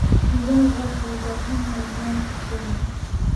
Digaagga waxay u baahan yihiin meel ku filan.